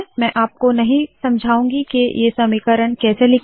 मैं आपको नहीं समझाऊँगी के ये समीकरण कैसे लिखे